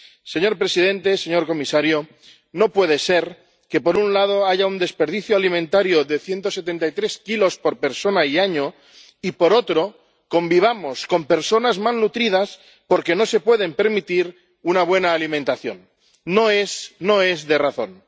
Señor presidente, señor comisario, no puede ser que, por un lado, haya un desperdicio alimentario de 173 kilos por persona y año y, por otro, convivamos con personas malnutridas porque no se pueden permitir una buena alimentación no es de razón.